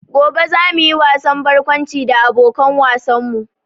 Gobe za mu yi wasan barkwanci da abokan wasan mu